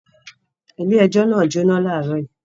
Ilé-ẹjọ́ náà jóná láàárọ̀ yìí.